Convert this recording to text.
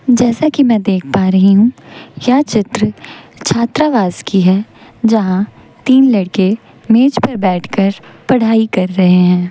जैसा की मैं देख पा रही हूं यह चित्र छात्रावास की है जहां तीन लड़के मेज पर बैठकर पढ़ाई कर रहे हैं।